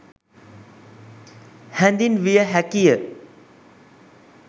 හැඳින්විය හැකිය.